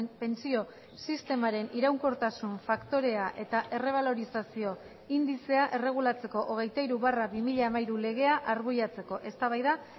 pentsio sistemaren iraunkortasun faktorea eta errebalorizazio indizea erregulatzeko hogeita hiru barra bi mila hamairu legea arbuiatzeko eztabaida